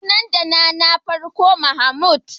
Sunan dana na farko Mahmud.